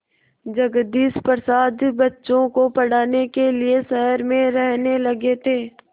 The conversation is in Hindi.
जगदीश प्रसाद बच्चों को पढ़ाने के लिए शहर में रहने लगे थे